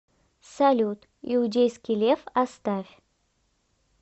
салют иудейский лев оставь